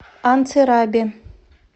анцирабе